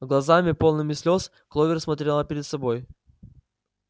глазами полными слёз кловер смотрела пред собой